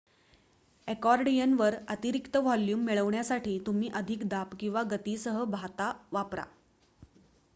अकॉर्डियनवर अतिरिक्त व्हॉल्यूम मिळविण्यासाठी तुम्ही अधिक दाब किंवा गतीसह भाता वापरा